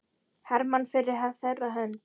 Hermann fyrir þeirra hönd.